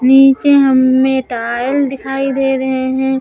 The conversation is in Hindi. नीचे हम्में टायल दिखाई दे रहे हैं।